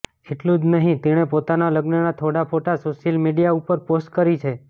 એટલું જ નહિ તેણે પોતાના લગ્નના થોડા ફોટા સોશિયલ મીડિયા ઉપર પોસ્ટ કરી છે